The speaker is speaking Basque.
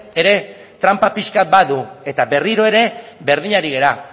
ere tranpa pixkat badu eta berriro ere berdin ari gara